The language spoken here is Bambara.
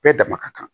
Bɛɛ dama ka kan